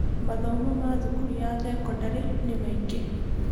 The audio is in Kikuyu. Mathomo ma thukuru ya thekondarĩ nĩ maingĩ.